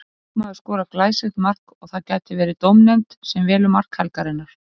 Leikmaður skorar glæsilegt mark og það gæti verið dómnefnd sem velur mark helgarinnar.